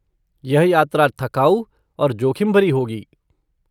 यह यात्रा थकाऊ और जोखिम भरी होगी।